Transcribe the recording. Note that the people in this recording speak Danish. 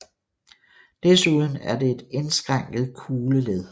Desuden er det et indskrænket kugleled